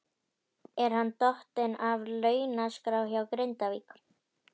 Er hann dottinn af launaskrá hjá Grindavík?